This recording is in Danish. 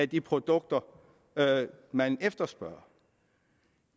de produkter man efterspørger